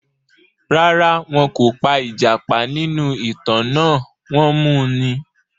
Rárá, wọn kò pa ìjàpá nínú ìtàn náà, wọ́n mu ni.